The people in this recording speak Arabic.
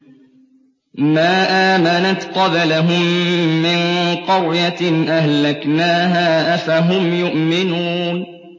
مَا آمَنَتْ قَبْلَهُم مِّن قَرْيَةٍ أَهْلَكْنَاهَا ۖ أَفَهُمْ يُؤْمِنُونَ